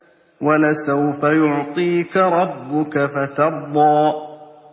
وَلَسَوْفَ يُعْطِيكَ رَبُّكَ فَتَرْضَىٰ